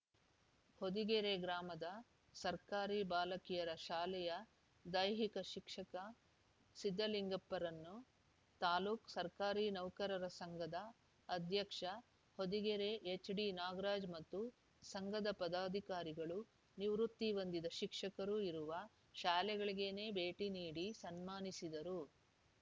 ಹೊದಿಗೆರೆ ಗ್ರಾಮದ ಸರ್ಕಾರಿ ಬಾಲಕಿಯರ ಶಾಲೆಯ ದೈಹಿಕ ಶಿಕ್ಷಕ ಸಿದ್ದಲಿಂಗಪ್ಪರನ್ನು ತಾಲೂಕು ಸರ್ಕಾರಿ ನೌಕರರ ಸಂಘದ ಅಧ್ಯಕ್ಷ ಹೊದಿಗೆರೆ ಎಚ್‌ಡಿನಾಗರಾಜ್‌ ಮತ್ತು ಸಂಘದ ಪದಾಧಿಕಾರಿಗಳು ನಿವೃತ್ತಿ ಹೊಂದಿದ ಶಿಕ್ಷಕರು ಇರುವ ಶಾಲೆಗಳಿಗೇನೇ ಭೇಟಿ ನೀಡಿ ಸನ್ಮಾನಿಸಿದರು